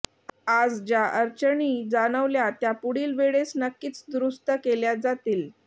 आज ज्या अडचणी जाणवल्या त्या पुढील वळेस नक्कीच दुरूस्त केल्या जातील